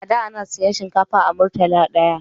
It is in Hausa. A da ana siyan shinkafa a murtala daya